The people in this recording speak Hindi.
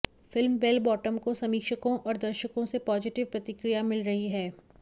फिल्म बेल बॉटम को समीक्षकों और दर्शकों से पॉजिटिव प्रतिक्रिया मिल रही है